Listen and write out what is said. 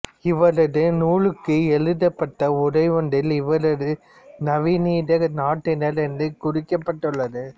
இவரது நூலுக்கு எழுதப்பட்ட உரை ஒன்றில் இவர் நவநீத நாட்டினர் என்று குறிக்கப்பட்டுள்ளது